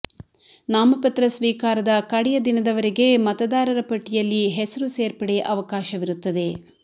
ನಾಮಪತ್ರ ಸ್ವೀಕಾರದ ಕಡೆಯ ದಿನದವರೆಗೆ ಮತದಾರರ ಪಟ್ಟಿಯಲ್ಲಿ ಹೆಸರು ಸೇರ್ಪಡೆ ಅವಕಾಶವಿರುತ್ತದೆ